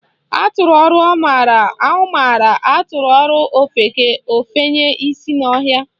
Atụọrọ ọmara, ọ mara, atụọrọ ofeke, ofenye isi n'ọhịa